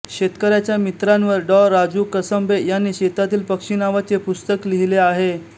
शेतकऱ्यांच्या मित्रांवर डॉ राजू कसंबे यांनी शेतातील पक्षी नावाचे पुस्तक लिहिले आहे